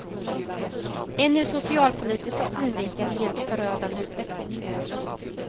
En ur socialpolitisk synvinkel helt förödande utveckling.